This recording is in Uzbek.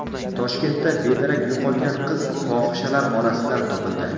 Toshkentda bedarak yo‘qolgan qiz fohishalar orasidan topildi.